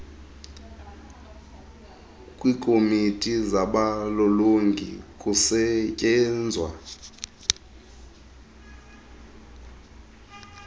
kwiikomiti zabalolongi kusetyenzwa